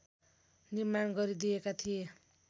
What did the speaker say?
निर्माण गरिदिएका थिए